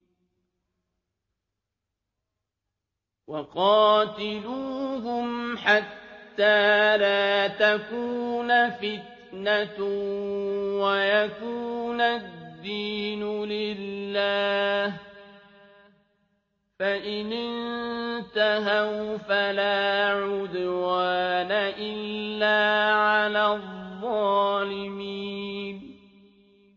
وَقَاتِلُوهُمْ حَتَّىٰ لَا تَكُونَ فِتْنَةٌ وَيَكُونَ الدِّينُ لِلَّهِ ۖ فَإِنِ انتَهَوْا فَلَا عُدْوَانَ إِلَّا عَلَى الظَّالِمِينَ